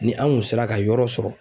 Ni an kun sera ka yɔrɔ sɔrɔ